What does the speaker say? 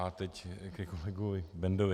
A teď ke kolegovi Bendovi.